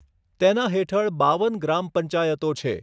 તેના હેઠળ બાવન ગ્રામ પંચાયતો છે.